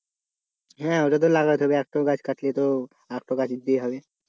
হ্যাঁ ওটা তো লাগাতে হবে একটা গাছ কাটলে তো আর তো গাছ দিতেই হবে